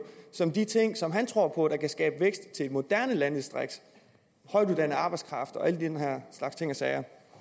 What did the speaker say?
som de ting som han tror på kan skabe vækst i et moderne landdistrikt højtuddannet arbejdskraft